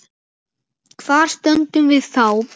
Hvar stöndum við þá?